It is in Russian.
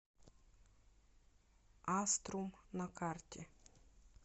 аструм на карте